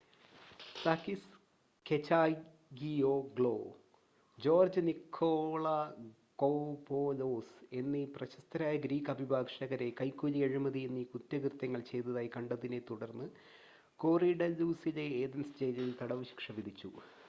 Sakis Kechagioglou George Nikolakopoulos എന്നീ പ്രശസ്തരായ Greek അഭിഭാഷകരെ കൈക്കൂലി അഴിമതി എന്നീ കുറ്റകൃത്യങ്ങൾ ചെയ്തതായി കണ്ടതിനെ തുടർന്ന് കൊറിഡല്ലൂസിലെ ഏഥൻസ് ജയിലിൽ തടവ് ശിക്ഷ വിധിച്ചു